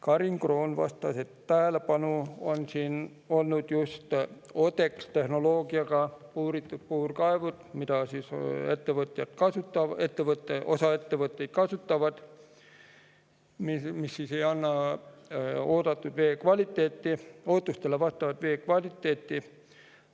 Karin Kroon vastas, et tähelepanu all on olnud ODEX-tehnoloogiaga puuritud puurkaevud, mida osa ettevõtjaid kasutab, kuid mis ei anna ootustele vastavat vee kvaliteeti.